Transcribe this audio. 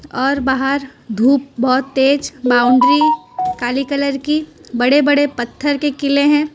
और बाहर धूप बहुत तेज बाउंड्री काली कलर की बड़े बड़े पत्थर के किले हैं।